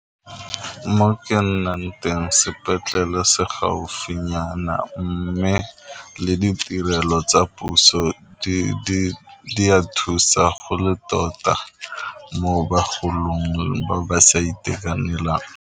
Mo ke nnang teng sepetlele se gaufinyana mme le ditirelo tsa puso di a thusa go le tota mo bagolong ba ba sa itekanelang.